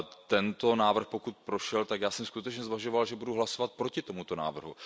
Tento návrh, pokud prošel, tak já jsem skutečně zvažoval, že budu hlasovat proti tomuto návrhu.